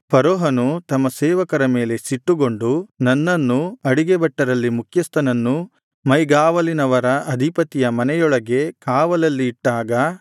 ಫರೋಹನು ತಮ್ಮ ಸೇವಕರ ಮೇಲೆ ಸಿಟ್ಟುಗೊಂಡು ನನ್ನನ್ನೂ ಅಡಿಗೆ ಭಟ್ಟರಲ್ಲಿ ಮುಖ್ಯಸ್ಥನನ್ನೂ ಮೈಗಾವಲಿನವರ ಅಧಿಪತಿಯ ಮನೆಯೊಳಗೆ ಕಾವಲಲ್ಲಿ ಇಟ್ಟಾಗ